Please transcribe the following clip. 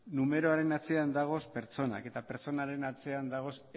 numeroaren atzean dagoz pertsonak eta pertsonaren atzean dagoz